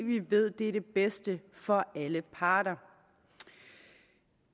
ved at det er det bedste for alle parter